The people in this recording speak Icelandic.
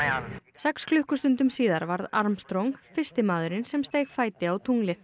sex klukkustundum síðar varð Armstrong fyrsti maðurinn sem steig fæti á tunglið